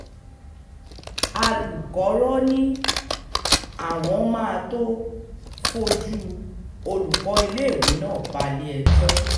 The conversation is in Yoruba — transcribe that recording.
alùkọ́rọ́ ni àwọn máa tóó fojú olùkọ́ iléèwé náà balé-ẹjọ́